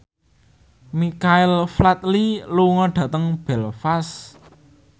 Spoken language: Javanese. Michael Flatley lunga dhateng Belfast